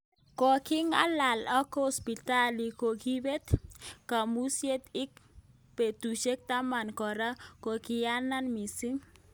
Kokikongalal ak Hospitali kokibet kabuzet ik betushek taman koran kokiunyanat misik.